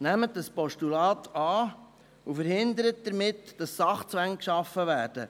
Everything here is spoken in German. Nehmen Sie das Postulat an, und verhindern Sie damit, dass Sachzwänge geschaffen werden.